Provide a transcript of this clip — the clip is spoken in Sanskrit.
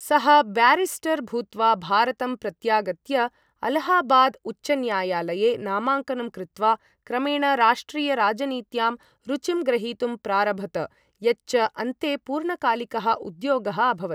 सः ब्यारिस्टर् भूत्वा, भारतं प्रत्यागत्य, अलाहाबाद उच्चन्यायालये नामाङ्कनं कृत्वा, क्रमेण राष्ट्रिय राजनीत्यां रुचिं ग्रहीतुं प्रारभत, यच्च अन्ते पूर्णकालिकः उद्योगः अभवत्।